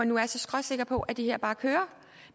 nu er så skråsikker på at det her bare kører